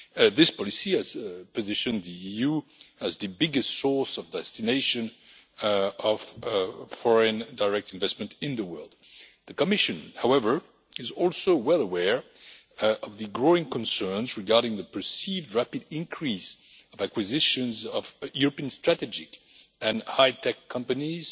This policy has positioned the EU as the biggest source destination of foreign direct investment in the world. The Commission however, is also well aware of the growing concerns regarding the perceived rapid increase of acquisitions of European strategic and high tech companies